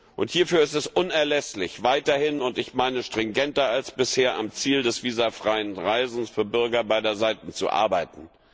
Und hierfür ist es unerlässlich, weiterhin und ich meine stringenter als bisher am Ziel des visafreien Reisens für Bürger beider Seiten zu arbeiten.